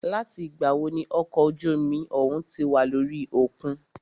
Láti ìgbà wo ní okọ̀ ojú omi òhún tí wà lórí òkun?